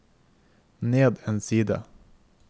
ned en side